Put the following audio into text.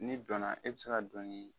N'i dɔna e bi se ka dɔnin